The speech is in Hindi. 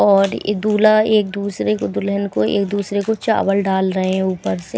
और ये दूल्हा एक दूसरे को दुल्हन को एक दूसरे को चावल डाल रहे हैं ऊपर से--